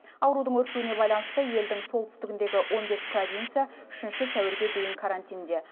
аурудың өршуіне байланысты елдің солтүстігіндегі он бес провинция үшінші сәуірге дейін карантинде